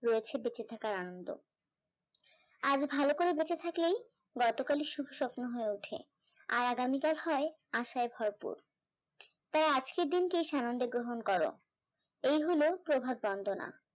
রয়েছে বেঁচে থাকার আনন্দ আজ ভালো করে বেঁচে থাকলেই গতকালের সুখ স্বপ্ন হয়ে ওঠে, আর আগামীকাল হয় আসায় ভরপুর, তাই আজকের দিনটি সানন্দে গ্রহণ করো এই হলো প্রভাত বন্দনা